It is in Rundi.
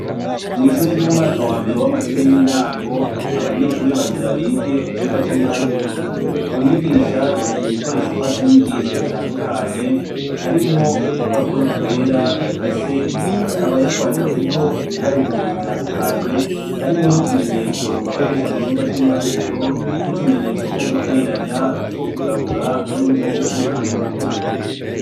Mw'ishure ry'umwaka wa mbere w'amashure y'intango abanyeshuri bagira bige icirwa c'ibiharuro umwigisha yazanya ibikoresho mfasha nyigisho bitandukanye harimwo udupapuro twera yaka se akaba yatwanditseko ibiharuro bitandukanye harimwo n'utumenyetso bakoresha mu cirwa c'ibiharuro nkutumenyetso two guteranya utwo kugabura hamwe n'utwo gukuramwo.